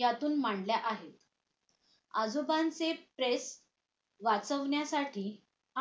यातून मांडल्या आहेत आजोबांचे press वाचवण्यासाठी